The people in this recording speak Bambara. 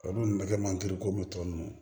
Olu bɛ kɛ mandi ko mutɔn ninnu